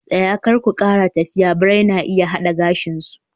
Tsaya! Kar ku kara tafiya birai na iya hada gashin ku